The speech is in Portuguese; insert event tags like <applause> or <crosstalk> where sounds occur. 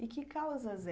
E que causas <unintelligible>